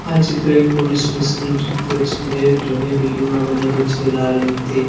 આ ચિત્ર એક પોલીસ સ્ટેશન નું ચિત્ર છે જે જૂની બિલ્ડીંગ માં બનેલું છે લાલ ઇંટથી--